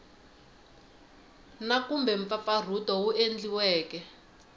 na kumbe mpfampfarhuto wu endliweke